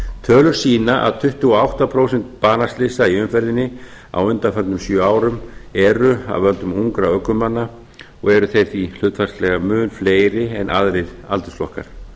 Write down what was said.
tölur sýna að tuttugu og átta prósent banaslysa í umferðinni á undanförnum sjö árum eru af völdum ungra ökumanna og eru þeir því hlutfallslega mun fleiri en aðrir aldursflokkum